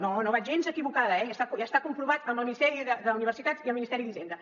no no vaig gens equivocada eh i està comprovat amb el ministeri d’universitats i el ministeri d’hisenda